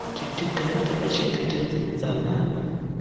kuti tigare takachengetedze utsanana.